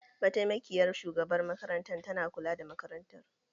Mataimakiyar shugabar makaranta ta na kula da makarantar.